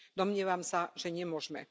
Domnievam sa, že nemôžeme.